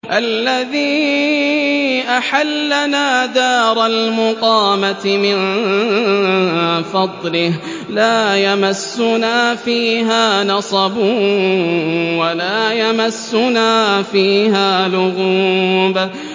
الَّذِي أَحَلَّنَا دَارَ الْمُقَامَةِ مِن فَضْلِهِ لَا يَمَسُّنَا فِيهَا نَصَبٌ وَلَا يَمَسُّنَا فِيهَا لُغُوبٌ